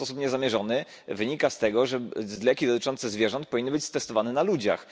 Chyba w sposób niezamierzony wynika z tego, że leki dotyczące zwierząt powinny być testowane na ludziach.